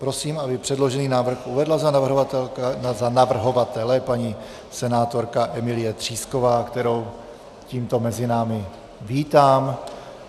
Prosím, aby předložený návrh uvedla za navrhovatele paní senátorka Emílie Třísková, kterou tímto mezi námi vítám.